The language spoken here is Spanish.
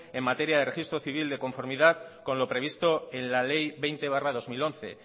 en materia de registro civil de conformidad con lo previsto en la ley veinte barra dos mil once